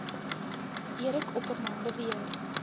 eric opperman beweer